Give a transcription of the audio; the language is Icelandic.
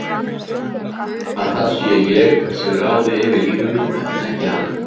Að það sé ég sem ráði yfir lífi mínu en ekki hann.